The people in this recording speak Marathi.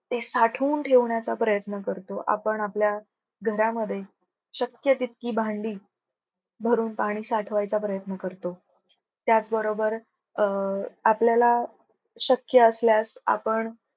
ते साठवून ठेवण्याचा प्रयत्न करतो. आपण आपल्या घरामध्ये शक्य तितकी भांडी भरून पाणी साठवायचा प्रयत्न करतो. त्याच बरोबर अं आपल्याला शक्य असल्यास आपण